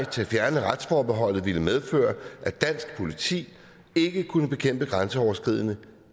til at fjerne retsforbeholdet ville medføre at dansk politi ikke kunne bekæmpe grænseoverskridende